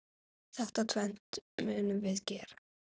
Þetta tvennt munum við gera.